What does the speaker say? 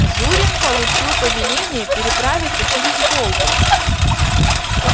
зурин получил повеление переправиться через волгу